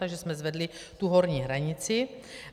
Takže jsme zvedli tu horní hranici.